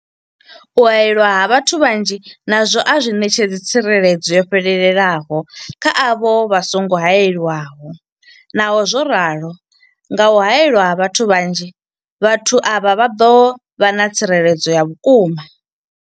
U haelwa ha vhathu vhanzhi nazwo a zwi ṋetshedzi tsireledzo yo fhelelaho kha avho vha songo haelwaho, Naho zwo ralo, nga kha u haelwa ha vhathu vhanzhi, vhathu avha vha ḓo vha na tsireledzo ya vhukuma.